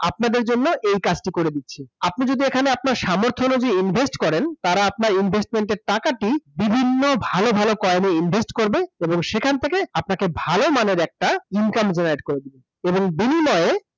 আপনাদের জন্য এই কাজটি করে দিচ্ছে আপনি যদি এখানে আপনার সামর্থ্য অনুযায়ী invest করেন তারা আপনার investment এর টাকাটি বিভিন্ন ভালো ভালো coin এ invest করবে এবং সেখান থেকে আপনাকে ভালো মানের একটা income করে দিবে এবং বিনিময়ে